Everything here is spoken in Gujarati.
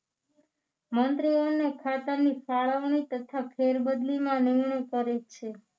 મંત્રીઓને ખાતાની ફાળવણી તથા ફેરબદલીમાં નિમણૂક કરે છે